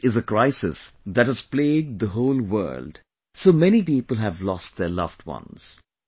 This is a crisis that has plagued the whole world, so many people have lost their loved ones